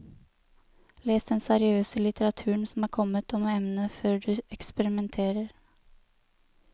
Les den seriøse litteraturen som er kommet om emnet før du eksperimenterer.